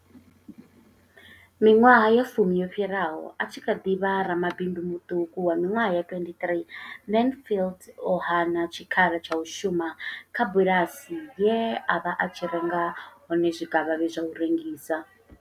Miṅwaha ya fumi yo fhiraho, a tshi kha ḓi vha ramabindu muṱuku wa miṅwaha ya 23, Mansfield o hana tshikhala tsha u shuma kha bulasi ye a vha a tshi renga hone zwikavhavhe zwa u rengisa.